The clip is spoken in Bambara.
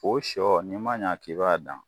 O sɔ n'i man ɲa k'i b'a dan